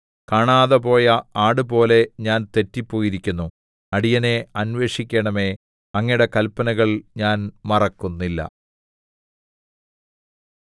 കാണാതെപോയ ആടുപോലെ ഞാൻ തെറ്റിപ്പോയിരിക്കുന്നു അടിയനെ അന്വേഷിക്കണമേ അങ്ങയുടെ കല്പനകൾ ഞാൻ മറക്കുന്നില്ല